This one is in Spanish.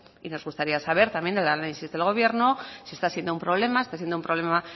y nos gustaría saber también el análisis del gobierno si está siendo un problema si está siendo un problema